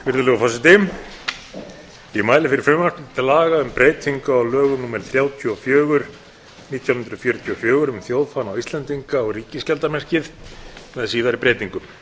virðulegur forseti ég mæli fyrir frumvarpi til laga um breytingu á lögum númer þrjátíu og fjögur nítján hundruð fjörutíu og fjögur um þjóðfána íslendinga og ríkisskjaldarmerkið með síðari breytingum